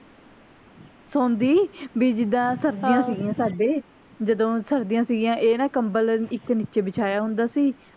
ਸੌਂਦੀ ਵੀ ਜਿੱਦਾਂ ਸਰਦੀਆਂ ਸਿਗੀਆਂ ਸਾਡੇ ਜਦੋਂ ਸਰਦੀਆਂ ਸਿਗੀਆਂ ਇਹ ਨਾ ਕਮਬਲ ਇੱਕ ਨਿੱਚੇ ਬਿਛਾਇਆ ਹੁੰਦਾ ਸੀ